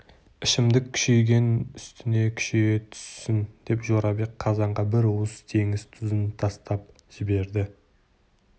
ішімдік күшейген үстіне күшейе түссін деп жорабек қазанға бір уыс теңіз тұзын таптап жіберді